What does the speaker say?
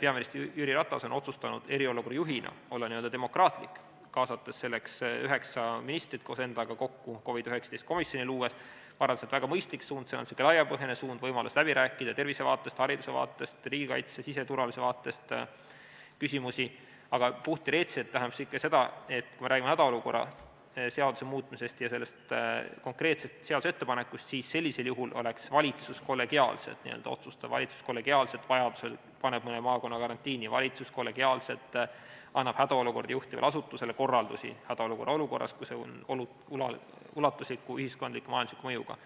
peaminister Jüri Ratas on otsustanud eriolukorra juhina olla demokraatlik, kaasates koos endaga üheksa ministrit COVID-19 komisjoni, ma arvan, on väga mõistlik suund, see on laiapõhjaline suund, see võimaldab küsimusi läbi rääkida tervise vaatest, hariduse vaatest, riigikaitse ja siseturvalisuse vaatest, aga puhtteoreetiliselt tähendab see ikka seda, et kui me räägime hädaolukorra seaduse muutmisest ja konkreetsest seaduse ettepanekust, siis sellisel juhul oleks valitsus kollegiaalselt otsustav, valitsus kollegiaalselt vajaduse korral paneb mõne maakonna karantiini, valitsus kollegiaalselt annab hädaolukorda juhtivale asutusele korraldusi hädaolukorras, kui tegemist on ulatusliku ühiskondliku ja majandusliku mõjuga.